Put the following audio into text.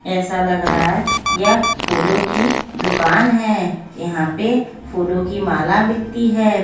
ऐसा लग रहा है यह फूलों की दुकान है यहां पे फूलों की माला बिकती है।